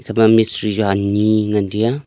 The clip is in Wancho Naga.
ema mistri chu ani ngan tai a.